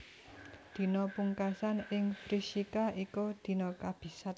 Dina pungkasan ing Vrishika iku dina kabisat